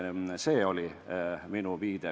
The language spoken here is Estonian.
See oli minu viide.